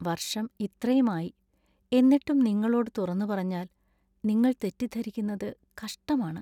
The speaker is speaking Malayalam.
വര്‍ഷം ഇത്രയുമായി. എന്നിട്ടും നിങ്ങളോടു തുറന്നുപറഞ്ഞാല്‍ നിങ്ങൾ തെറ്റിദ്ധരിക്കുന്നത് കഷ്ടമാണ്.